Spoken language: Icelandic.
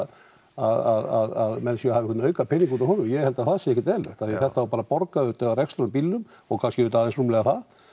að menn séu að hafa einhvern aukapening út úr honum ég held að það sé ekkert eðlilegt af því að þetta á bara að borga auðvitað rekstur á bílnum og kannski auðvitað aðeins rúmlega það